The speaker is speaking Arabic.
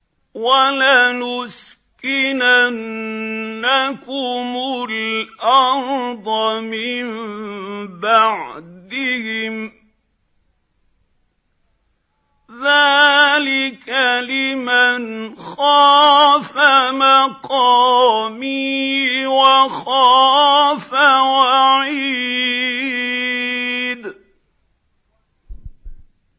وَلَنُسْكِنَنَّكُمُ الْأَرْضَ مِن بَعْدِهِمْ ۚ ذَٰلِكَ لِمَنْ خَافَ مَقَامِي وَخَافَ وَعِيدِ